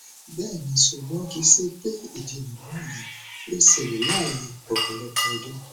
bẹẹni ṣugbọn kii ṣe pe idinamọ yii yoo ṣẹlẹ lẹhin ọpọlọpọ ọdun